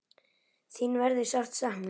Þín verður ætíð sárt saknað.